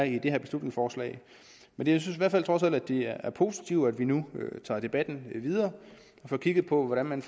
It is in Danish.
i det her beslutningsforslag men jeg synes i hvert fald trods alt at det er positivt at vi nu tager debatten videre og får kigget på hvordan man